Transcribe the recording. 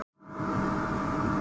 Eldur í skemmtigarði